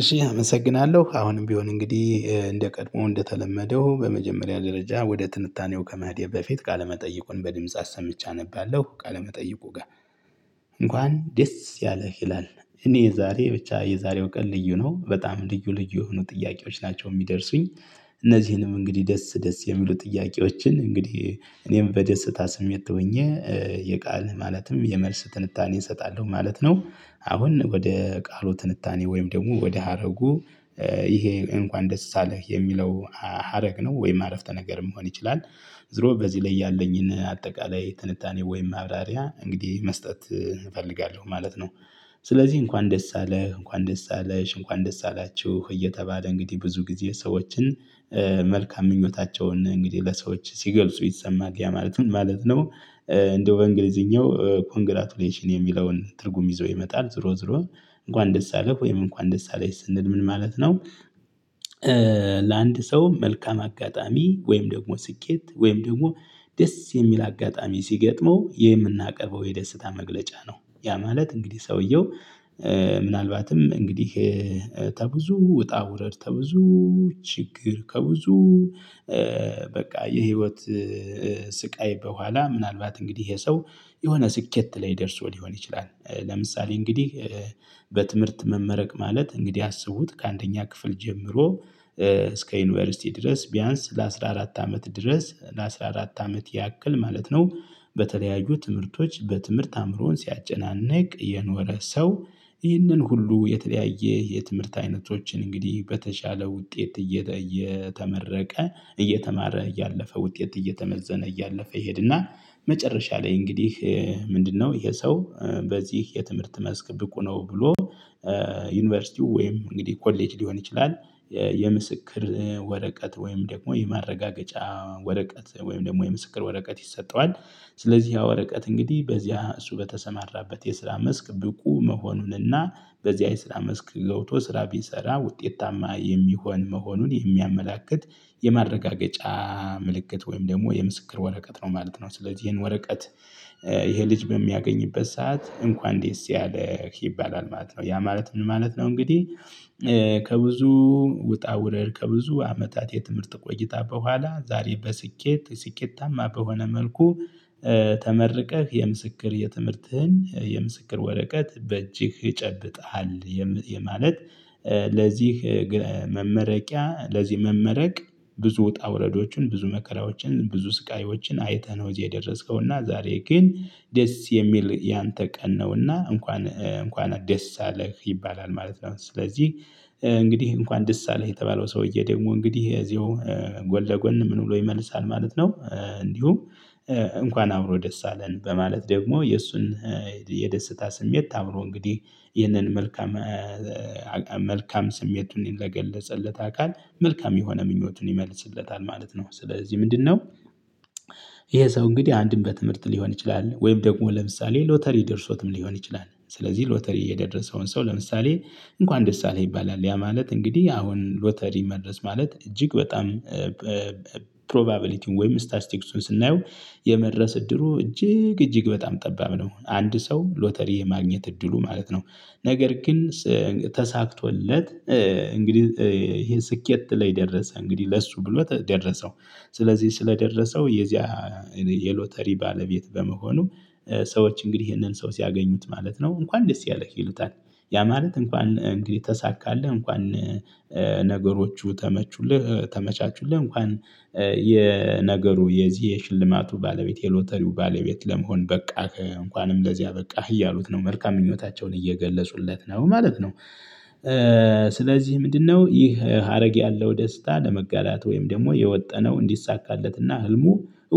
እሺ አመሰግናለሁ አሁንም ቢሆን እንግዲህ እንደቀድሞ እንደተለመደው በመጀመሪያ ደረጃ ወደ ትንታኔው ከመሄድ በፊት ቃለመጠይቁን በድምጽ አሰምቼ አነባለሁ ቃለመጠይቁ ጋር። እንኳን ደስ ያለህ ይላል እኔ የዛሬ ብቻ የዛሬው ቀን ልዩ ነው በጣም ልዩ ልዩ የሆኑ ጥያቄዎች ናቸው የሚደርሱኝ። እነዚህንም እንግዲህ ደስ ደስ የሚሉ ጥያቄዎችን እንግዲህ እኔም በደስታ ስሜት ሆኜ የቃል ማለትም የመልስ ትንታኔ እሰጣለሁ ማለት ነው። አሁን ወደ ቃሉ ትንታኔ ወይም ደግሞ ወደ ሀረጉ ይሄ እንኳን ደስ አለህ የሚለው ሀረግ ነው ወይም አረፍተ ነገር መሆን ይችላል። ዝሮ በዚህ ላይ ያለኝን አጠቃላይ ትንታኔ ወይም ማብራሪያ እንግዲህ መስጠት እፈልጋለሁ ማለት ነው። ስለዚህ እንኳን ደስ አለህ እንኳን ደስ አለሽ እንኳን ደስ አላችሁ እየተባለ እንግዲህ ብዙ ጊዜ ሰዎችን መልካም ምኞታቸውን እንግዲህ ለሰዎች ሲገልጹ ይሰማል ያ ማለት ምን ማለት ነው? እንደው በእንግሊዝኛው ኮንግራጁሌሽን የሚለውን ትርጉም ይዞ ይመጣል ዞሮ ዞሮ እንኳን ደስ አለህ ወይም እንኳን ደስ አለሽ ስንል ምን ማለት ነው? ለአንድ ሰው መልካም አጋጣሚ ወይም ደግሞ ስኬት ወይም ደግሞ ደስ የሚል አጋጣሚ ሲገጥመው የምናቀርበው የደስታ መግለጫ ነው። ያ ማለት እንግዲህ ሰውየው ምናልባትም እንግዲህ ከብዙ ውጣ ውረድ ከብዙ ችግር ከብዙ በቃ የህይወት ስቃይ በኋላ ምናልባት እንግዲህ ይሄ ሰው የሆነ ስኬት ላይ ደርሶ ሊሆን ይችላል። ለምሳሌ እንግዲህ በትምህርት መመረቅ ማለት እንግዲህ አስቡት ከአንደኛ ክፍል ጀምሮ እስከ ዩኒቨርሲቲ ድረስ ቢያንስ ለአሥራ አራት አመት ድረስ ለአሥራ አራት አመት ያክል ማለት ነው። በተለያዩ ትምህርቶች በትምህርት አእምሮውን ሲያጨናንቅ የኖረ ሰው ይህንን ሁሉ የተለያየ የትምህርት አይነቶችን እንግዲህ በተሻለ ውጤት እየተመረቀ እየተማረ እያለፈ ውጤት እየተመዘነ እያለፈ ይሄድና መጨረሻ ላይ እንግዲህ ምንድነው ይሄ ሰው በዚህ የትምህርት መስክ ብቁ ነው ብሎ? ዩኒቨርሲቲው ወይም እንግዲህ ኮሌጅ ሊሆን ይችላል። የምስክር ወረቀት ወይም ደግሞ የማረጋገጫ ወረቀት ወይም ደግሞ የምስክር ወረቀት ይሰጠዋል። ስለዚህ ያ ወረቀት እንግዲህ በዚያ እሱ በተሰማራበት የስራ መስክ ብቁ መሆኑንና በዚህ የስራ መስክ ገብቶ ስራ ቢሰራ ውጤታማ የሚሆን መሆኑን የሚያመላክት የመረጋገጫ ምልክት ወይም ደግሞ የምስክር ወረቀት ነው ማለት ነው። ስለዚህ ይሄን ወረቀት ይሄ ልጅ በሚያገኝበት ሰዓት እንኳን ደስ ያለህ ይባላል ማለት ነው። ያ ማለት ምን ማለት ነው? እንግዲህ ውጣ ውረር ከብዙ አመታት የትምህርት ቆይታ በኋላ ዛሬ በስኬት ስኬታማ በሆነ መልኩ ተመርቀህ የምስክር የትምህርትህን የምስክር ወረቀት በእጅህ ጨብጠሃል። የማለት ለዚህ መመረቂያ ለዚህ መመረቅ ብዙ ወጣ ውረዶችን ብዙ መከራዎችን ብዙ ስቃዮችን አይተህ ነው እዚህ የደረስከው እና ዛሬ ግን ደስ የሚል ያንተ ቀን ነውና እንኳን እንኳን ደስ አለህ ይባላል ማለት ነው። ስለዚህ እንግዲህ እንኳን ደስ አለህ የተባለው ሰውዬ ደግሞ እንግዲህ እዚሁ ጎን ለጎን ምን ብሎ ይመልሳል ማለት ነው። እንዲሁ እንኳን አብሮ ደስ አለን በማለት ደግሞ የእሱን የደስታ ስሜት አብሮ እንግዲህ ይህንን መልካም መልካም ስሜቱን ለገለጸለት አካል መልካም የሆነ ምኞቱን ይመልስለታል ማለት ነው። ስለዚህ ምንድነው? ይሄ ሰው እንግዲህ አንድም በትምህርት ሊሆን ይችላል ወይም ደግሞ ለምሳሌ ሎተሪ ደርሶትም ሊሆን ይችላል። ስለዚህ ሎተሪ የደረሰውን ሰው ለምሳሌ እንኳን ደስ አለህ ይባላል ያ ማለት እንግዲህ አሁን ሎተሪ መድረስ ማለት እጅግ በጣም ፕሮባቢሊቲውን ወይም ስታስቲክሱን ስናየው የመድረስ እድሉ እጅግ እጅግ በጣም ጠባብ ነው። አንድ ሰው ሎተሪ የማግኘት እድሉ ማለት ነው። ነገር ግን ተሳክቶለት እንግዲህ ይሄ ስኬት ላይ ደረሰ እንግዲህ ለሱ ብሎ ደረሰው ስለዚህ ስለደረሰው የዚያ የሎተሪ ባለቤት በመሆኑ ሰዎች እንግዲህ ይሄንን ሰው ሲያገኙት ማለት ነው እንኳን ደስ ያለህ ይሉታል። ያ ማለት እንኳን እንግዲህ ተሳካለህ እንኳን ነገሮቹ ተመቹልህ ተመቻቹልህ እንኳን የነገሩ የዚህ የሽልማቱ ባለቤት የሎተሪው ባለቤት ለመሆን በቃህ እንኳንም ለዚህ አበቃህ እያሉት ነው። መልካም ምኞታቸውን እየገለፁለት ነው ማለት ነው። ስለዚህ ምንድነው ይህ ሀረግ ያለው ደስታ ለመጋራት ወይም ደግሞ የወጠነው እንዲሳካለትና ህልሙ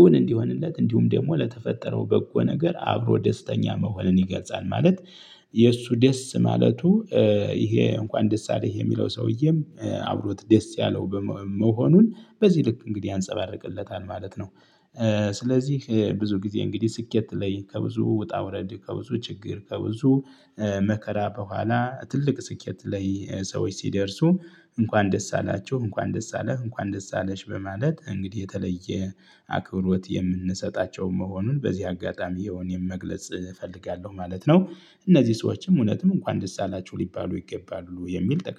እውን እንዲሆንለት እንዲሁም ደግሞ ለተፈጠረው በጎ ነገር አብሮ ደስተኛ መሆንን ይገልጻል። ማለት የእሱ ደስ ማለቱ ይሄ እንኳን ደስ አለህ የሚለው ሰውዬም አብሮት ደስ ያለው መሆኑን በዚህ ልክ እንግዲህ ያንፀባርቅለታል ማለት ነው። ስለዚህ ብዙ ጊዜ እንግዲህ ስኬት ላይ ከብዙ ውጣ ውረድ ከብዙ ችግር ከብዙ መከራ በኋላ ትልቅ ስኬት ላይ ሰዎች ሲደርሱ እንኳን ደስ አላችሁ እንኳን ደስ አለህ እንኳን ደስ አለሽ በማለት እንግዲህ የተለየ አክብሮት የምንሰጣቸው መሆኑን በዚህ አጋጣሚ ያው እኔም መግለጽ እፈልጋለሁ ማለት ነው። እነዚህ ሰዎችም እውነትም እንኳን ደስ አላቹሁ ሊባሉ ይገባሉ የሚል